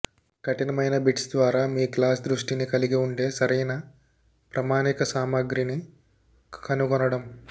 కఠినమైన బిట్స్ ద్వారా మీ క్లాస్ దృష్టిని కలిగి ఉండే సరైన ప్రామాణిక సామగ్రిని కనుగొనడం